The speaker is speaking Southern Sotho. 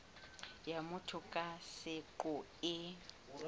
ya motho ka seqo e